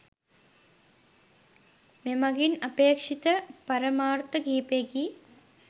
මෙමගින් අපේක්ෂිත පරමාර්ථ කිහිපයකි